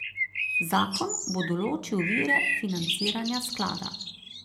Zakon bo določil vire financiranja sklada.